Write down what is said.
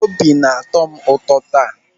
Obi na-atọ m ụtọ taa.